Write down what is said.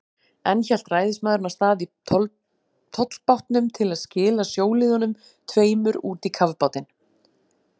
Enn hélt ræðismaðurinn af stað í tollbátnum til að skila sjóliðunum tveimur út í kafbátinn.